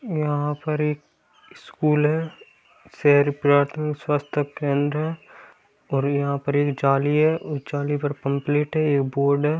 यहाँ पर एक स्कूल है शेर प्लॉटिंग संस्था केंद्र और यहाँ पर एक जाली है उस जाली पर पोम्प्लेट है।